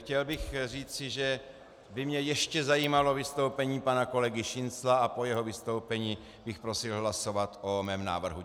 Chtěl bych říci, že by mě ještě zajímalo vystoupení pana kolegy Šincla, a po jeho vystoupení bych prosil hlasovat o mém návrhu.